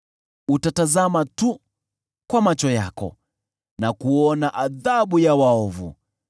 Utatazama tu kwa macho yako na kuona adhabu ya waovu.